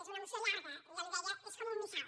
és una moció llarga jo li deia és com un missal